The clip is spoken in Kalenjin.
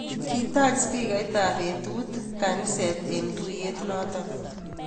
Kitach spikait ab betut kanisa eng tuyet noto